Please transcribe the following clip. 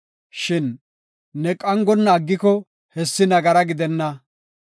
Shin ne qangonna aggiko hessi nagara gidenna.